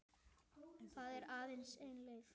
Það er aðeins ein leið